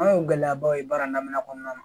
An y'o gɛlɛyabaw ye baara daminɛ kɔnɔna na